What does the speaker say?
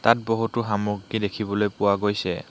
তাত বহুতো সামগ্ৰী দেখিবলৈ পোৱা গৈছে।